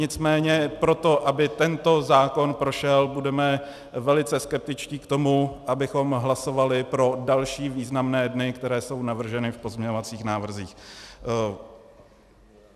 Nicméně proto, aby tento zákon prošel, budeme velice skeptičtí k tomu, abychom hlasovali pro další významné dny, které jsou navrženy v pozměňovacích návrzích.